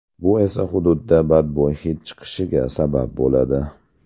Bu esa hududda badbo‘y hid chiqishiga sabab bo‘ladi.